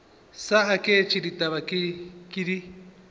sa aketše ditaba ke di